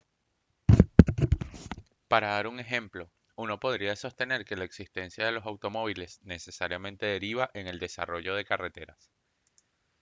para dar un ejemplo uno podría sostener que la existencia de los automóviles necesariamente deriva en el desarrollo de carreteras